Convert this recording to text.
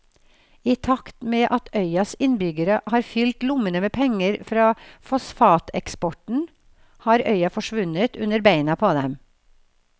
I takt med at øyas innbyggere har fylt lommene med penger fra fosfateksporten har øya forsvunnet under beina på dem.